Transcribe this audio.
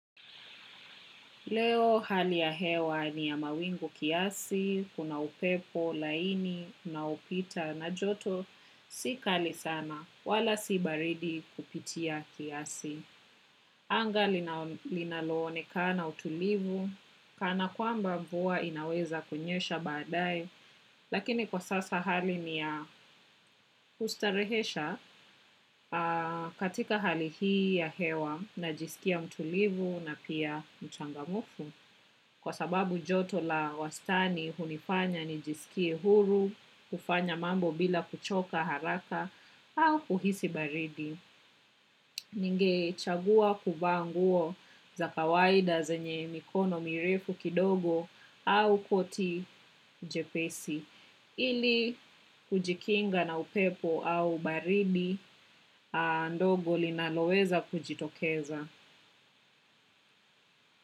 Leo hali ya hewa ni ya mawingu kiasi, kuna upepo, laini, na upita na joto, si kali sana, wala si baridi kupitia kiasi. Anga linaloonekana utulivu kana kwamba mvua inaweza kunyesha baadaye lakini kwa sasa hali ni ya kustarehesha katika hali ya hewa najiskia utulivu na pia mchangamfu. Kwa sababu joto la wastani hunifanya nijisikie huru, kufanya mambo bila kuchoka haraka au kuhisi baridi. Ningechagua kuvaa nguo za kawaida zenye mikono mirefu kidogo au koti jepesi. Ili kujikinga na upepo au baridi ndogo linaloweza kujitokeza.